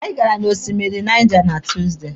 Anyị gara na osimiri Niger na Tuusdey.